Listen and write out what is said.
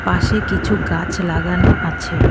পাশে কিছু গাছ লাগানো আছে।